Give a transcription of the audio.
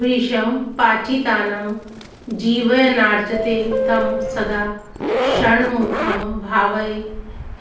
भृशं पाचितान् जीवयन्राजते तं सदा षण्मुखं भावये